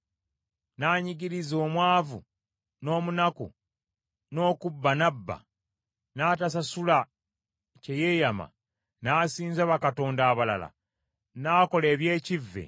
n’anyigiriza omwavu n’omunaku, n’okubba n’abba, n’atasasula kye yeeyama, n’asinza bakatonda abalala, n’akola eby’ekivve,